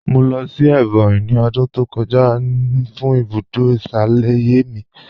Mọ̀ lọ́ sí Ebonyi ní ọ̀dún tó kọ̀jà fún ibùdó ìṣalẹ̀yẹ̀ mí.